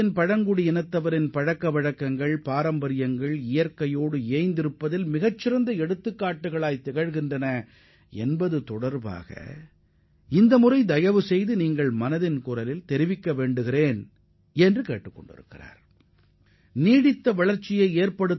பழங்குடியின மக்களும் அவர்களது பாரம்பரியம் மற்றும் சடங்குகளும் எவ்வாறு இயற்கைச் சூழலுக்கு ஏற்ற உதாரணங்களாக திகழ்கின்றன என்பதை மனதின் குரல் நிகழ்ச்சியில் ஒரு தலைப்பாக எடுத்துக் கொள்ளுமாறு எனது அரசு செயலி மூலம் தெரிவித்துள்ளார்